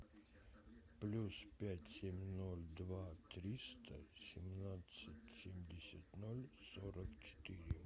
плюс пять семь ноль два триста семнадцать семьдесят ноль сорок четыре